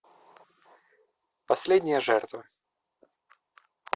последняя жертва